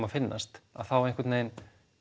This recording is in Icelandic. að finnast þá einhvern veginn